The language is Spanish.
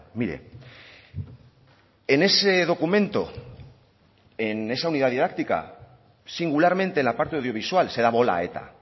mire en ese documento en esa unidad didáctica singularmente la parte audiovisual se da bola a eta